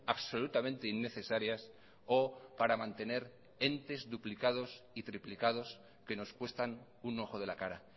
absolutamente innecesarias o para mantener entes duplicados y triplicados que nos cuestan un ojo de la cara